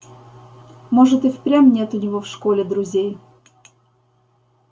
может и впрямь нет у него в школе друзей